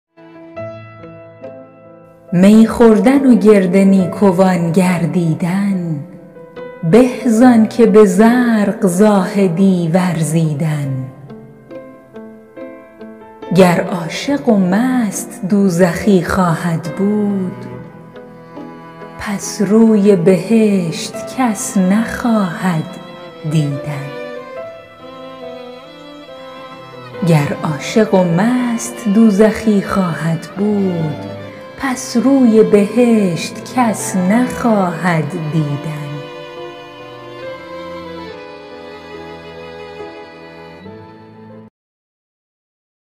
می خوردن و گرد نیکوان گردیدن به زآن که به زرق زاهدی ورزیدن گر عاشق و مست دوزخی خواهد بود پس روی بهشت کس نخواهد دیدن